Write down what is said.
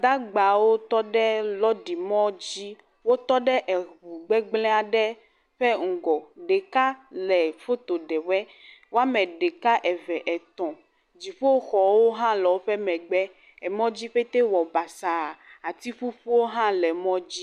Gbadagbawo tɔ ɖe lɔrimɔ dzi. Wotɔ ɖe ŋu gbegblẽ aɖe ƒe ŋgɔ. Ɖeka le foto ɖe woe, woame ɖeka, eve, etɔ̃. Dziƒoxɔwo hã le woƒe megbe. Mɔ dzi petɛ wɔ basaa. Ati ƒuƒuwo hã le mɔ dzi.